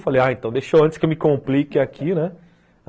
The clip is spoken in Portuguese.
Falei, ah, então deixou antes que eu me complique aqui, né?